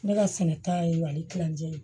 Ne ka sɛnɛ ta ye ali kilancɛ ye